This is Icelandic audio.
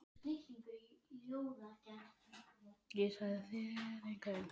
LANDSHÖFÐINGI: Ég sagði að þér yrðuð aftur skipaður sýslumaður.